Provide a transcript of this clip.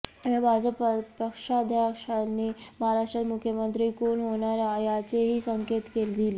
या भाजप पक्षाध्यक्षांनी महाराष्ट्रात मुख्यमंत्री कोण होणार याचेही संकेत दिले